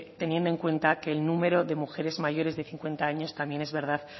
teniendo en cuenta que el número de mujeres mayores de cincuenta años también es verdad